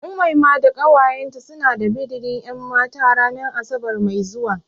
Umaima da ƙawayen ta suna da bidirin ƴanmata ranan asabar mai zuwa.